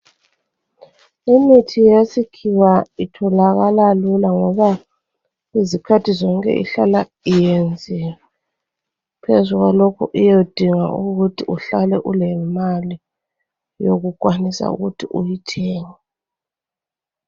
Imithi yesikhiwa itholakala lula ngoba izikhathi zonke ihlala iyenziwe. Phezu kwalokho iyodinga ukuthi uhlale ulemali yokukwanisa ukuthi uyithenge.